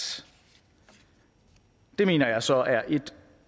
det mener jeg så er et